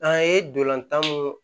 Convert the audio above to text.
An ye dolantan mun